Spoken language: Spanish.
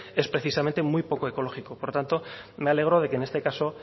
es precisamente muy poco ecológico por lo tanto me alegro de que en este caso